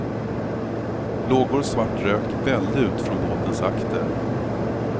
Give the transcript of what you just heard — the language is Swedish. Lågor och svart rök vällde ut från båtens akter.